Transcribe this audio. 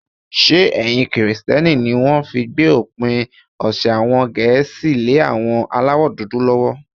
Ṣé ẹ̀sìn kìrìtẹ́ní ní wọ́n fi gbé òpin ọ̀sẹ̀ àwọn Gẹ̀ẹ́sì lé àwọn aláwọ̀dúdú lọ́wọ́?